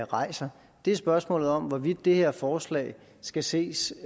rejser spørgsmål om er hvorvidt det her forslag skal ses